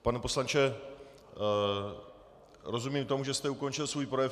Pane poslanče, rozumím tomu, že jste ukončil svůj projev?